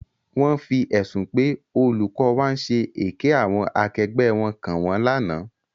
Wọ́n fi ẹ̀sùn pé olùkọ́ wa ń ṣe èké àwọn akẹgbẹ́ wọn kàn wọ́n lánàá.